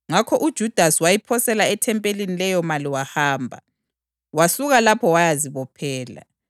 Ngakho uJudasi wayiphosela ethempelini leyomali wahamba. Wasuka lapho wayazibophela.